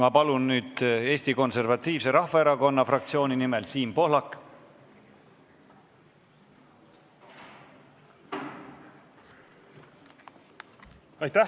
Ma palun nüüd Eesti Konservatiivse Erakonna fraktsiooni nimel Siim Pohlak!